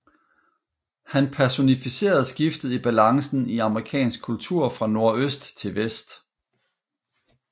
Han personificerede skiftet i balancen i amerikansk kultur fra nordøst til vest